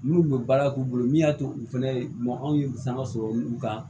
N'u bɛ baara k'u bolo min y'a to u fɛnɛ bamuw ye sanga sɔrɔ u kan